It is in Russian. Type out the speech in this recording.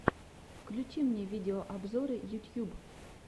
включи мне видеообзоры ютьюб